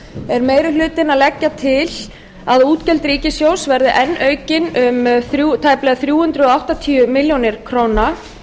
er meiri hlutinn að leggja til að útgjöld ríkissjóðs verði enn aukin um tæplega þrjú hundruð áttatíu milljónir króna